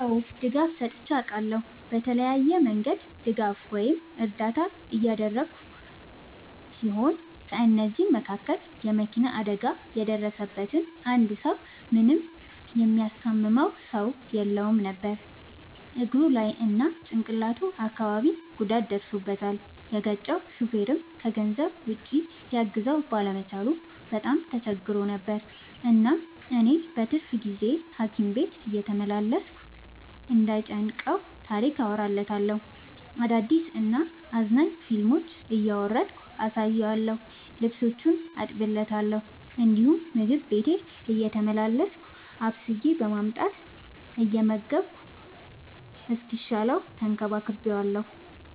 አዎ ድጋፍ ሰጥቼ አውቃለሁ። በተለያየ መንገድ ድጋፍ ወይም እርዳታ ያደረግሁ ሲሆን ከ እነዚህም ውስጥ የ መኪና አደጋ የደረሠበትን አንድ ሰው ምንም የሚያስታምመው ሰው የለውም ነበር እግሩ ላይ እና ጭቅላቱ አካባቢ ጉዳት ደርሶበታል። የገጨው ሹፌርም ከገንዘብ ውጪ ሊያግዘው ባለመቻሉ በጣም ተቸግሮ ነበር። እናም እኔ በትርፍ ጊዜዬ ሀኪም ቤት እየተመላለስኩ እንዳይ ጨንቀው ታሪክ አወራለታለሁ፤ አዳዲስ እና አዝናኝ ፊልሞችን እያወረድኩ አሳየዋለሁ። ልብሶቹን አጥብለታለሁ እንዲሁም ምግብ ቤቴ እየተመላለስኩ አብስዬ በማምጣት እየመገብኩ እስኪሻለው ተንከባክቤዋለሁ።